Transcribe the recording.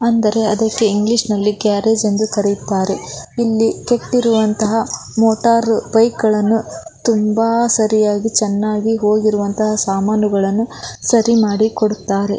ಅಂದರೆ ಅದಕ್ಕೆ ಇಂಗ್ಲಿಷ್ ನಲ್ಲಿ ಗ್ಯಾರೇಜ್ ಎಂದು ಕರೆಯುತ್ತಾರೆ ಇಲ್ಲಿ ಕೆಟ್ಟಿರುವಂತಹ ಮೋಟಾರ್ ಬೈಕ್ ಗಳನ್ನು ತುಂಬಾ ಸರಿಯಾಗಿ ಚನ್ನಾಗಿ ಹೋಗಿರುವಂತಹ ಸಾಮಾನುಗಳನ್ನು ಸರಿ ಮಾಡಿಕೊಡುತ್ತಾರೆ.